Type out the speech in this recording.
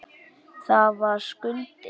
Það var Skundi.